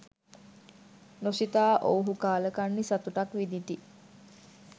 නොසිතා ඔවුහු කාලකන්නි සතුටක් විඳිති.